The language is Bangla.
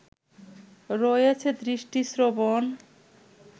রয়েছে দৃষ্টি, শ্রবণ